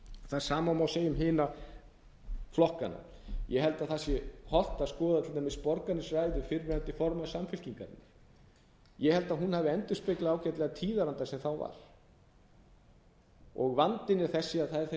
það sama má segja um hina flokkana ég held að það sé hollt að skoða til dæmis borgarnesræðu fyrrverandi formanns samfylkingarinnar ég held að hún hafi endurspeglað ágætlega tíðarandann sem þá var vandinn er þessi að það er þessi hjarðhegðun sem er